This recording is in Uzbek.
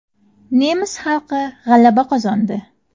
Nemis xalqi g‘alaba qozondi.